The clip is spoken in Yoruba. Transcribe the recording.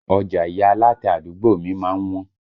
Ọjà ìyá alátẹ àdúgbò mi má ń wọ́n